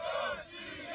Rusiya!